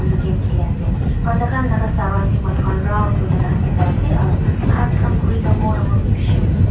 etu game kheli ase aru takhan laga serounding manu khan round kina takhan tah sai ase aru khaas khan khuri dangor dangor tu bishi ase.